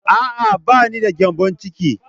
A'a, ba ni da gyambon ciki.